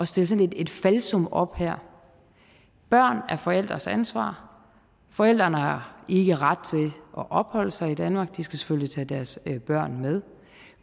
stille sådan et falsum op her børn er forældres ansvar forældrene har ikke ret til at opholde sig i danmark de skal selvfølgelig tage deres børn med